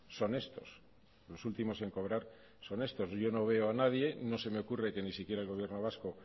son estos los últimos en cobrar son estos yo no veo a nadie no se me ocurre que ni siquiera el gobierno vasco